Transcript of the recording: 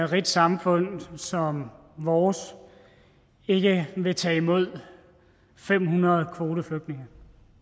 rigt samfund som vores ikke vil tage imod fem hundrede kvoteflygtninge